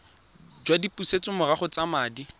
jwa dipusetsomorago tsa madi a